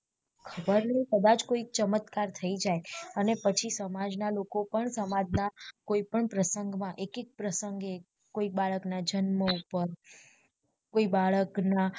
ખબર નઇ કદાચ કોઈ ચમત્કાર થઇ જય અને પછી સમાજ ના લોકો પણ સમાજ ના કોઈ પણ પ્રસંગ, માં એક એક પ્રસંગે કોઈ બાળક ના જન્મ ઉપર કોઈ બાળક ના